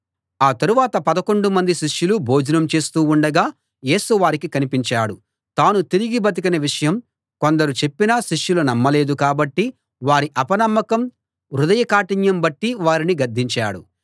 ఆ తరువాత పదకొండు మంది శిష్యులు భోజనం చేస్తూ ఉండగా యేసు వారికి కనిపించాడు తాను తిరిగి బతికిన విషయం కొందరు చెప్పినా శిష్యులు నమ్మలేదు కాబట్టి వారి అపనమ్మకం హృదయ కాఠిన్యం బట్టి వారిని గద్దించాడు